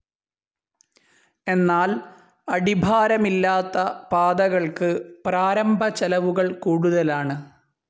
എന്നാൽ അടിഭാരമില്ലാത്ത പാതകൾക്ക് പ്രാരംഭ ചെലവുകൾ കൂടുതലാണ്.